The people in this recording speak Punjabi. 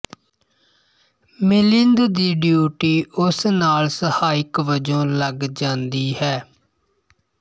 ਮਿਲਿੰਦ ਦੀ ਡਿਊਟੀ ਉਸ ਨਾਲ ਸਹਾਇਕ ਵਜੋਂ ਲੱਗ ਜਾਂਦੀ ਹੈ